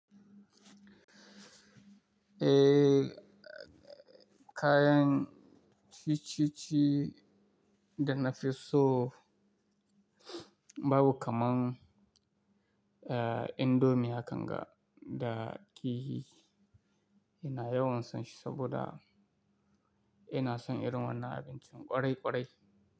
Eh, kayan ciye-ciye da na fi so babu kaman, eh, indomie akanga da kihi. Ina yawan son shi saboda ina son irin wannan abincin ƙwarai ƙwarai.